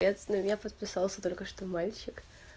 капец на меня подписался только что мальчик